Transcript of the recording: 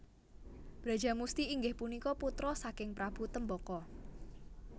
Brajamusti inggihpunika putra saking Prabu Trembaka